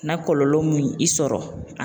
Na kɔlɔlɔ mun y'i i sɔrɔ